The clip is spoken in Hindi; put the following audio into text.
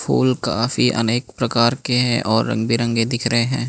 फूल काफी अनेक प्रकार के हैं और रंग बिरंगे दिख रहे हैं।